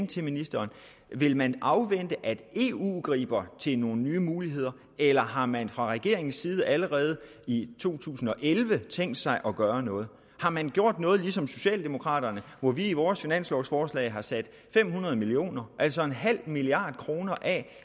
til ministeren vil man afvente at eu griber til nogle nye muligheder eller har man fra regeringens side allerede i to tusind og elleve tænkt sig at gøre noget har man gjort noget ligesom socialdemokraterne hvor vi i vores finanslovforslag har sat fem hundrede million kr altså en halv milliard kroner af